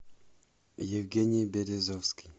евгений березовский